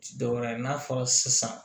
Ti dɔwɛrɛ ye n'a fɔra sisan